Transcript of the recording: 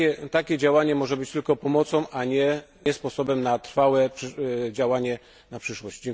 Takie działanie może być tylko pomocą, a nie sposobem na trwałe działanie na przyszłość.